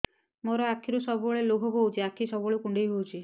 ମୋର ଆଖିରୁ ସବୁବେଳେ ଲୁହ ବୋହୁଛି ଆଖି ସବୁବେଳେ କୁଣ୍ଡେଇ ହଉଚି